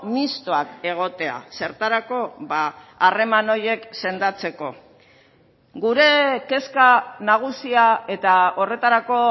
mistoak egotea zertarako harreman horiek sendatzeko gure kezka nagusia eta horretarako